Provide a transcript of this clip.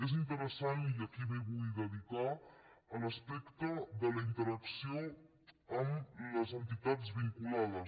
és interessant i aquí m’hi vull dedicar l’aspecte de la interacció amb les entitats vinculades